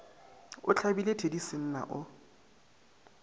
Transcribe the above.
a hlabile thedi senna o